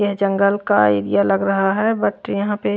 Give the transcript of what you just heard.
ये जंगल का एरिया लग रहा है बट यहां पे--